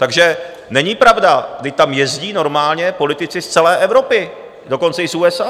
Takže není pravda, vždyť tam jezdí normálně politici z celé Evropy, dokonce i z USA.